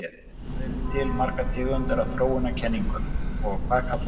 Hvað eru til margar tegundir af þróunarkenningum og hvað kallast þær?